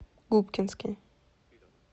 губкинский